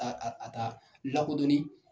A a ta lakodɔnni.